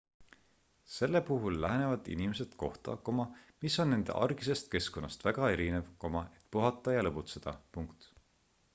selle puhul lähevad inimesed kohta mis on nende argisest keskkonnast väga erinev et puhata ja lõbutseda